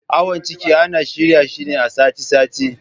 Awon ciki ana shirya shi ne a sati sati